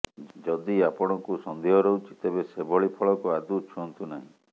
ଯଦି ଆପଣଙ୍କୁ ସନ୍ଦେହ ରହୁଛି ତେବେ ସେଭଳି ଫଳକୁ ଆଦୌ ଛୁଅନ୍ତୁ ନାହିଁ